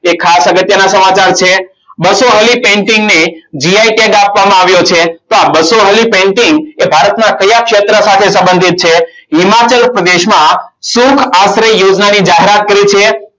ખાસ અગત્યના સમાચાર છે. બસો વાળી painting ને gi tag આપવામાં આવ્યો છે. તો આ બસો વાળી painting એ ભારતમાં કયા ક્ષેત્ર સાથે સંબંધિત છે. હિમાચલ પ્રદેશમાં શૃંખ આંત્ર યોજના ની જાહેરાત કરી છે.